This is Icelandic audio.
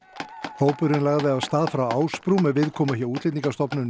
hópurinn lagði af stað frá Ásbrú með viðkomu hjá Útlendingastofnun í